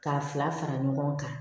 K'a fila fara ɲɔgɔn kan